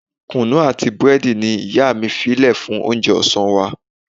Kunu àti búrẹ́dì ni ìyá mi fí lè fún oúnjẹ ọ̀sán wa.